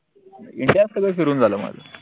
india त सगळं फिरून झालं माझं